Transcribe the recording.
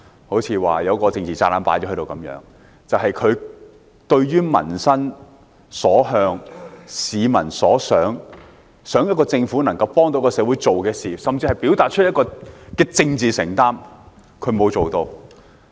不是說有一個政治炸彈放在這裏般，而是對於民心所向、市民所想、期望政府能夠幫助社會做的事，甚至表達政治承擔，施政報告均沒有作為。